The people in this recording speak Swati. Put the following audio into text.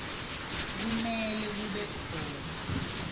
kumele kube khona